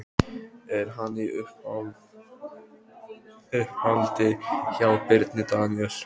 Er hann í uppáhaldi hjá Birni Daníel?